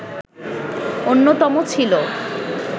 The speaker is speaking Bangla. অন্যতম ছিল